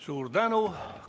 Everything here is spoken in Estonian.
Suur tänu!